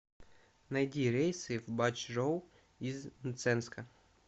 найди рейсы в бачжоу из мценска